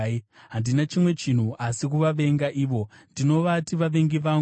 Handina chimwe chinhu asi kuvavenga ivo; ndinovati vavengi vangu.